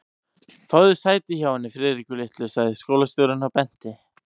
Fáðu þér sæti hjá henni Friðriku litlu sagði skólastjórinn og benti